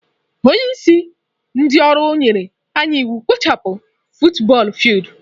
Onye isi ndị ọrụ nyere anyị iwu ikpochapụ futubọọl fildu.